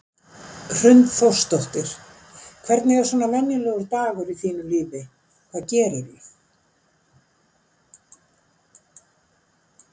Hrund Þórsdóttir: Hvernig er svona venjulegur dagur í þínu lífi, hvað gerirðu?